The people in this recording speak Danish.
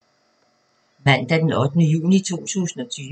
Mandag d. 8. juni 2020